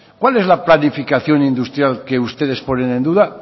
cuál es la planificación industrial que ustedes ponen en duda